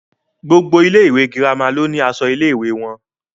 Gbogbo ilé ìwé girama ló ni aṣọ ilé ìwé wọn.